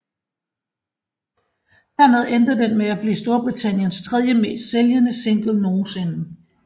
Dermed endte den med at blive Storbritanniens tredjemest sælgende single nogensinde